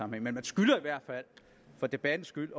men man skylder i hvert fald for debattens skyld